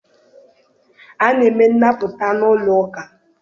A na-eme nnapụta n'ụlọ ụka.